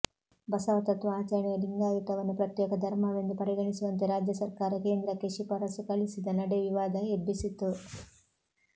ಬಸವ ತತ್ವ ಆಚರಣೆಯ ಲಿಂಗಾಯತವನ್ನು ಪ್ರತ್ಯೇಕ ಧರ್ಮವೆಂದು ಪರಿಗಣಿಸುವಂತೆ ರಾಜ್ಯ ಸರ್ಕಾರ ಕೇಂದ್ರಕ್ಕೆ ಶಿಫಾರಸು ಕಳಿಸಿದ ನಡೆ ವಿವಾದ ಎಬ್ಬಿಸಿತ್ತು